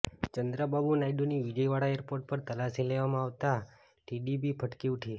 ચંદ્રાબાબુ નાયડુની વિજયવાડા એરપોર્ટ પર તલાશી લેવામાં આવતા ટીડીપી ભડકી ઉઠી